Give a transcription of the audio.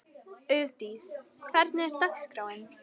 Auðdís, hvernig er dagskráin?